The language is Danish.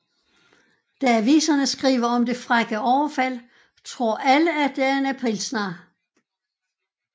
Da aviserne skriver om det frække overfald tror alle at det er en aprilsnar